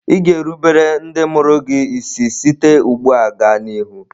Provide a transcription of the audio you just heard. Ị ga-erubere ndị mụrụ gị isi site ugbu a gaa n'ihu?